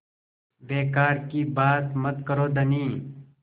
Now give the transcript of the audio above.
बेकार की बात मत करो धनी